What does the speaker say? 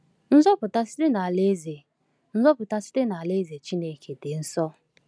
Nzọpụta site n’Alaeze Nzọpụta site n’Alaeze Chineke dị nso!